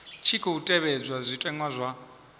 tshi khou tevhedzwa zwitenwa zwa